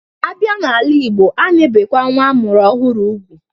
Abịa n'ala igbo, a na-ebekwa nwa amụrụ ọhụrụ ugwu